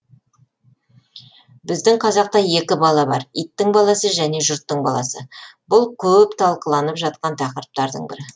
біздің қазақта екі бала бар иттің баласы және жұрттың баласы бұл көп талқыланып жатқан тақырыптардың бірі